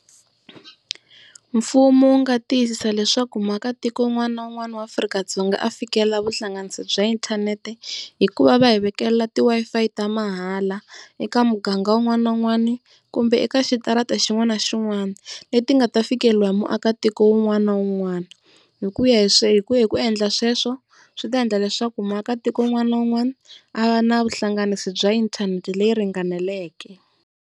Mfumo wu nga tiyisisa leswaku muakatiko un'wana na un'wana wa Afrika-Dzonga a fikelela vuhlanganisi bya inthanete, hikuva va hi vekelela ti Wi-Fi ta mahala eka muganga wun'wani na wun'wani kumbe eka xitarata xin'wana na xin'wana leti nga ta fikeleriwa hi muakatiko un'wana na un'wana. Hi ku ya hi hi ku endla sweswo swi ta endla leswaku muakatiko un'wana na un'wana a va na vuhlanganisi bya inthanete leyi ringaneleke.